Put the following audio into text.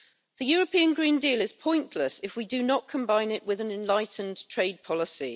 The European Green Deal is pointless if we do not combine it with an enlightened trade policy.